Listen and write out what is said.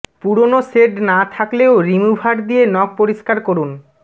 পুরনো শেড না থাকলেও রিমুভার দিয়ে নখ পরিষ্কার করুন